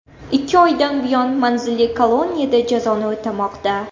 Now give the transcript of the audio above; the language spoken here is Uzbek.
Ikki oydan buyon manzilli koloniyada jazoni o‘tamoqda.